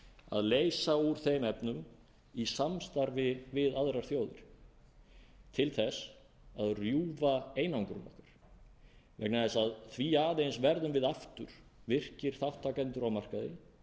að leysa úr þeim efnum í samstarfi við aðrar þjóðir til að rjúfa einangrun okkar vegna þess að því aðeins verðum við aftur virkir þátttakendur á markaði